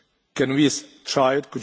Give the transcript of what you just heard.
Can we try it?